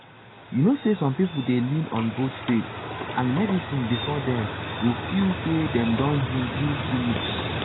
you know say some people dey lean on both faith and medicine before dem go feel say dem don heal heal finish.